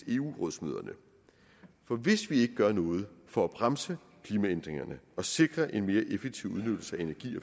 eu rådsmøderne for hvis vi ikke gør noget for at bremse klimaændringerne og sikre en mere effektiv udnyttelse af energi